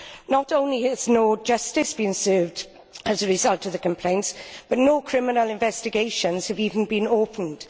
Not only has no justice been done as a result of the complaints, but no criminal investigations have even been opened.